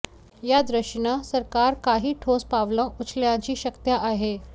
या दृष्टीनं सरकार काही ठोस पावलं उचलण्याची शक्यता आहे